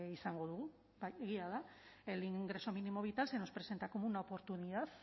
izango dugu bai egia da el ingreso mínimo vital se nos presenta como una oportunidad